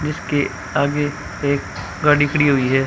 इसके आगे एक गाड़ी खड़ी हुई है।